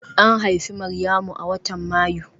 An haifi Maryamu a watan Mayu